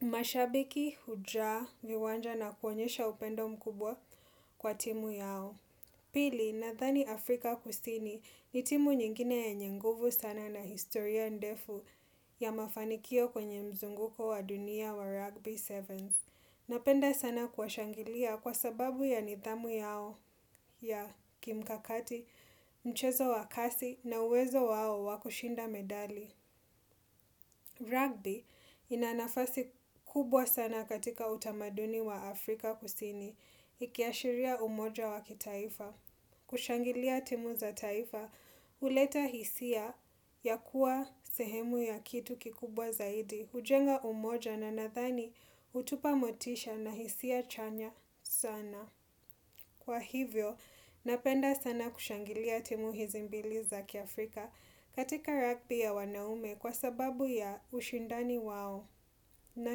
Mashabiki, hujaa, viwanja na kuonyesha upendo mkubwa kwa timu yao. Pili, nadhani Afrika kusini ni timu nyingine yenye nguvu sana na historia ndefu ya mafanikio kwenye mzunguko wa dunia wa rugby sevens. Napenda sana kuwashangilia kwa sababu ya nidhamu yao ya kimkakati mchezo wa kasi na uwezo wao wa kushinda medali. Rugby inanafasi kubwa sana katika utamaduni wa Afrika kusini. Ikiashiria umoja wakitaifa. Kushangilia timu za taifa, huleta hisia ya kuwa sehemu ya kitu kikubwa zaidi. Hujenga umoja na nadhani hutupa motisha na hisia chanya sana. Kwa hivyo, napenda sana kushangilia timu hizi mbili za kiafrika katika rugby ya wanaume kwa sababu ya ushindani wao na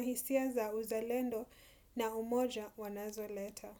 hisia za uzalendo na umoja wanazoleta.